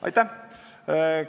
Aitäh!